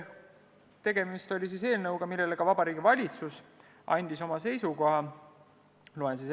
Tegemist on eelnõuga, mille kohta ka Vabariigi Valitsus on oma seisukoha andnud.